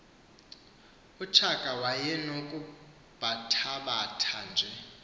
utshaka wayenokubathabatha nje